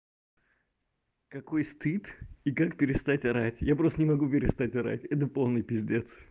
какой стыд и как перестать орать я просто не могу перестать орать это полный пиздец